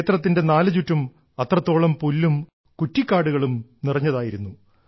ക്ഷേത്രത്തിന്റെ നാലുചുറ്റും അത്രത്തോളം പുല്ലും കുറ്റിക്കാടുകളും നിറഞ്ഞതായിരുന്നു